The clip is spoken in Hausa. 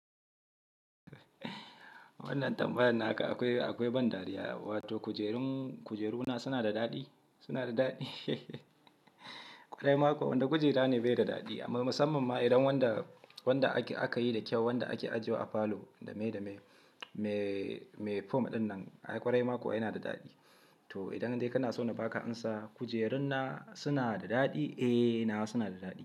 Wannan tambayar naka akwai, akwai ban dariya. Wato kujerun, kujeruna suna da daɗi? Suna da daɗi? Ƙwairaima kuwa, wanni kujera ne bai da daɗi. Amma musamman ma idan wanda, wanda aka yi da kyau, wanda ake ajewa a falo dame dame, me, me form ɗin nan, ai ƙwairai ma kuwa yana da daɗi. To idan dai kana so na baka amsa, kujerun na suna da daɗi, eh nawa suna da daɗi.